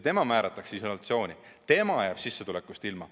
Tema määratakse isolatsiooni, tema jääb sissetulekust ilma.